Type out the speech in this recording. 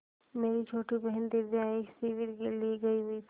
मेरी छोटी बहन दिव्या एक शिविर के लिए गयी हुई थी